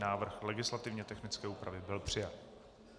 Návrh legislativně technické úpravy byl přijat.